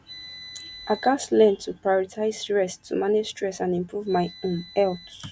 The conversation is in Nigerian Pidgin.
i gats learn to prioritize rest to manage stress and improve my um health